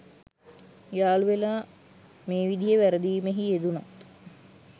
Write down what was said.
යාළුවෙලා මේ විදිහේ වැරදීමෙහි යෙදුණත්